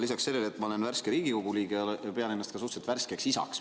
Lisaks sellele, et ma olen värske Riigikogu liige, pean ennast suhteliselt värskeks isaks.